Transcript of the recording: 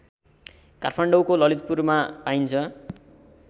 काठमाडौँको ललितपुरमा पाइन्छ